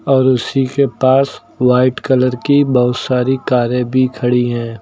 और उसी के पास व्हाइट कलर की बहोत सारी कारें भी खड़ी है।